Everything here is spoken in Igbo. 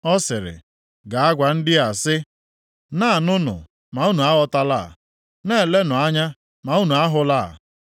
Ọ siri, “Gaa gwa ndị a sị, “ ‘Na-anụnụ, ma unu aghọtala, na-elenụ anya ma unu ahụla. + 6:9 \+xt Mat 13:14; Mak 4:12; Luk 8:10\+xt*’